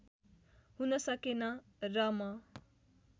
हुन सकेन र म